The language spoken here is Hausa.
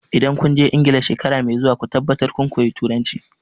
Idan kun je Ingila shekara mai zuwa ku tabbatar kun koyi Turanci!